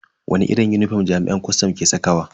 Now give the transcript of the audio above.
Wani kalan unifom jami'an kwastam ke sakawa?